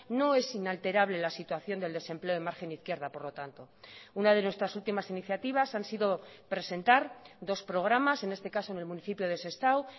no es inalterable la situación del desempleo en margen izquierda por lo tanto una de nuestras últimas iniciativas han sido presentar dos programas en este caso en el municipio de sestao